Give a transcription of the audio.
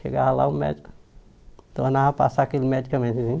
Chegava lá o médico, tornava passar aquele medicamentozinho.